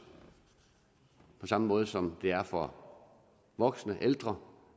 på samme måde som det er for voksne og ældre